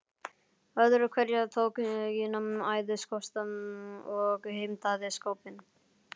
Öðru hverju tók Gína æðisköst og heimtaði skápinn.